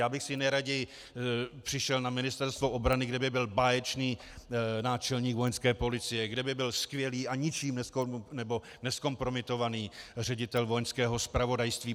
Já bych si nejraději přišel na Ministerstvo obrany, kde by byl báječný náčelník Vojenské policie, kde by byl skvělý a ničím nezkompromitovaný ředitel Vojenského zpravodajství.